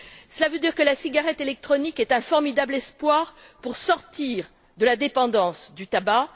Cela veut dire que la cigarette électronique est un formidable espoir pour sortir de la dépendance du tabac.